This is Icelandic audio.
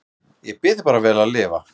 Ég bið þig bara vel að lifa